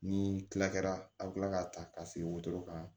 Ni kila kɛra a bɛ kila k'a ta ka sigi wotoro kan